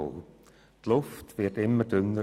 Die Luft wird dünner und dünner.